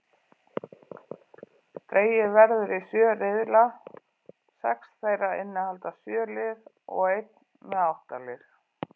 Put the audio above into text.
Dregið verður í sjö riðla, sex þeirra innihalda sjö lið og einn með átta lið.